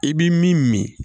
I bi min min